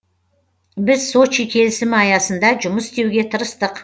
біз сочи келісімі аясында жұмыс істеуге тырыстық